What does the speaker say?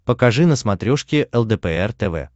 покажи на смотрешке лдпр тв